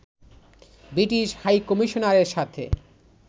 British হাইকমিশনারের সাথে